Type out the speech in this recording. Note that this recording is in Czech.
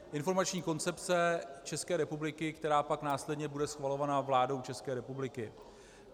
Informační koncepce České republiky, která pak následně bude schvalována vládou České republiky.